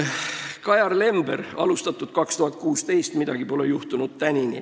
Kajar Lember: alustatud 2016, tänini pole midagi juhtunud.